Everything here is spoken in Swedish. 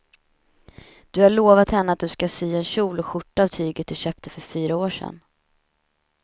Du har lovat henne att du ska sy en kjol och skjorta av tyget du köpte för fyra år sedan.